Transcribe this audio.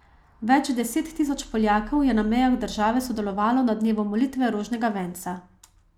Več deset tisoč Poljakov je na mejah države sodelovalo na dnevu molitve rožnega venca.